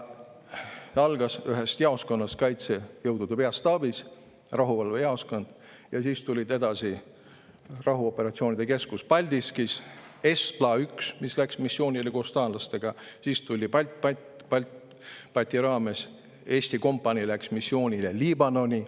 See algas ühest jaoskonnast Kaitsejõudude Peastaabis, see oli rahuvalvejaoskond, edasi tuli rahuoperatsioonide keskus Paldiskis, ESTPLA‑1, mis läks missioonile koos taanlastega, siis läks Eesti kompanii BALTBAT-i raames missioonile Liibanoni.